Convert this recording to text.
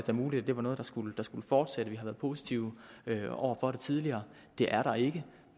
da muligt at det var noget der skulle fortsætte vi har været positive over for det tidligere det er der ikke